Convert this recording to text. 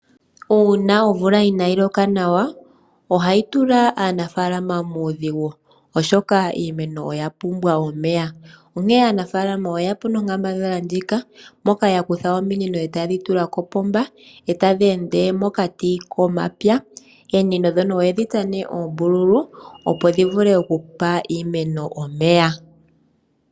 Uuna omvula inayi loka nawa, ohayi tula aanafaalama muudhigu, oshoka iinamwenyo oya pumbwa omeya. Aanafaalama oye ya po nonkambadhala moka ya kutha ominino e taye dhi tula kopomba, e tadhi ende mokati komapya. Ominino dhika aantu oye dhi dhi tsa oombululu, opo dhi vule okupa iimeno omeya.